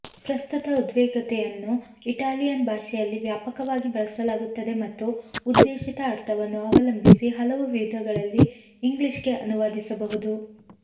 ಪ್ರಸ್ತುತ ಉದ್ವಿಗ್ನತೆಯನ್ನು ಇಟಾಲಿಯನ್ ಭಾಷೆಯಲ್ಲಿ ವ್ಯಾಪಕವಾಗಿ ಬಳಸಲಾಗುತ್ತದೆ ಮತ್ತು ಉದ್ದೇಶಿತ ಅರ್ಥವನ್ನು ಅವಲಂಬಿಸಿ ಹಲವು ವಿಧಗಳಲ್ಲಿ ಇಂಗ್ಲಿಷ್ಗೆ ಅನುವಾದಿಸಬಹುದು